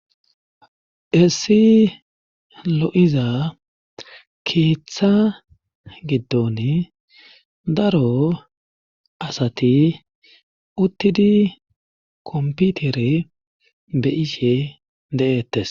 Essi lo'iza keeththa giddon daro asati uttidi komputere beyishe de'ettes.